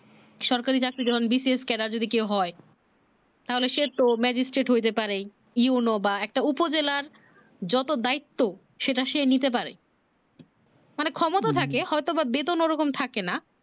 সরকারি চাকরি যখন bcskela যদি কেউ হয় তাহলে সে তো mejistart হইতে পারে you know বা একটা উপজেলার যত দায়িত্ব সেটা সে নিতে পারে মানে ক্ষমতা থাকে হয়তো বেতন ওরকম থাকে না